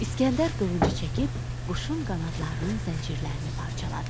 İsgəndər qılıncı çəkib quşun qanadlarının zəncirlərini parçaladı.